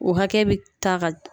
O hakɛ bɛ ta ka